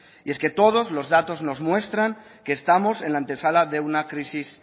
y es que todos los datos nos muestran que estamos en la antesala de una crisis